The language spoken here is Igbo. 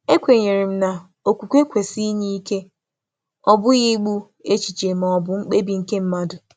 E kwè m na okwukwe kwesị inye ike, ọ bụghị igbu echiche na um mkpebi nke mmadụ.